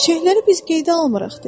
Çiçəkləri biz qeydə almırıq,